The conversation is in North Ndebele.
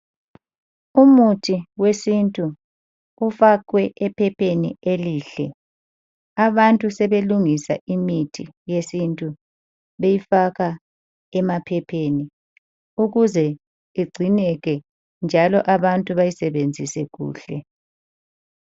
Umuthi wesintu ufakwe ephepheni elihle. Abantu sebelungisa imithi yesintu beyifaka emaphepheni. Ukuze igcineke njalo abantu bayisebenzise kuhle.